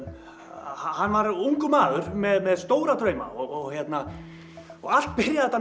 hann var ungur maður með stóra drauma og hérna allt byrjaði þetta